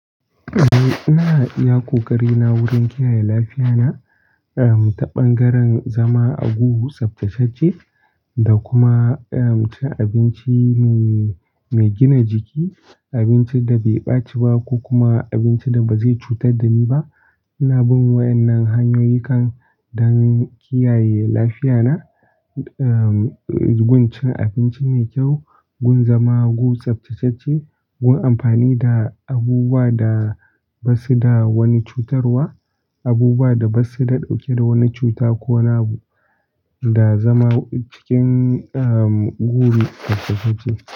Eh, ina iya ƙoƙari na wurin kiyaye lafiya na, ehm, ta ɓangaren zama a guri tsaftatacce da kuma, ehm, cin abinci mai, mai gina jiki, abinci da bai ɓaci ba ko kuma abinci da ba zai cutar da ni ba. Ina bin waɗannan hanyoyin kan don kiyaye lafiya na, ehm, gun cin abinci mai kyau, gun zama a gudu tsaftatacce, gun amfani da abubuwa da basu da wani cutarwa, abubuwa da basu da ɗauke da wani cuta ko wani abu, da zama cikin, ehm, gudu tsaftatacce.